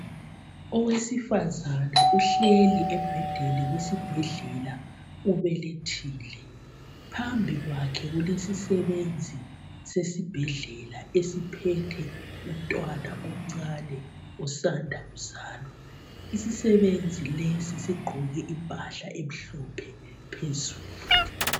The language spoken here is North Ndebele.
Owesifazana uhleli embhedeni wesibhedlela ubelethile phambi kwakhe kulesisebenzi sesibhedlela esiphethe umntwana omncane osanda kuzalwa. Isisebenzi lesi sigqoke impahla emhlophe phezulu.